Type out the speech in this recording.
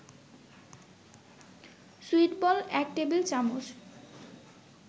সুইটবল ১ টেবিল-চামচ